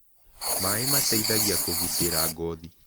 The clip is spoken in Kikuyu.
Maĩ mateĩthagĩa kũgĩtĩra ngothĩ